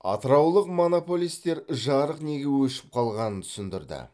атыраулық монополистер жарық неге өшіп қалғанын түсіндірді